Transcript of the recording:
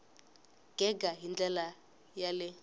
gega hi ndlela ya le